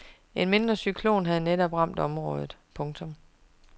En mindre cyklon havde netop ramt området. punktum